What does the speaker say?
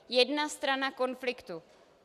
Jedna strana konfliktu.